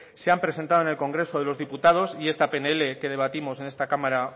se han presentado en el congreso de los diputados y esta pnl que debatimos en esta cámara